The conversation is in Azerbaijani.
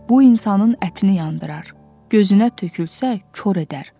Bu insanın ətini yandırar, gözünə tökülsə kor edər.